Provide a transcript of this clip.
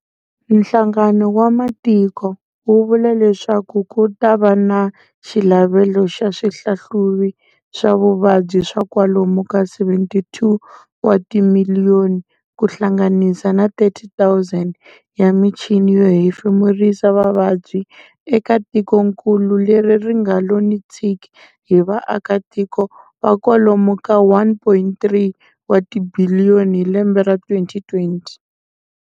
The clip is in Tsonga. Nhlangano wa matiko, wu vula leswaku kuta va na xilavelo xa swihlahluvi swa vuvabyi swa kwalomu ka 74 wa timiliyoni ku hlanganisa na 30, 000 ya michini yo hefemurisa vavabyi eka tikonkulu leri ringalo ni tshiki hi vaakatiko va kwalomu ka 1.3 watibhiliyoni hi lembe ra 2020.